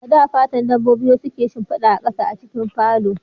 A da, fatan dabbobi wasu ke shimfida a ƙasa a cikin falo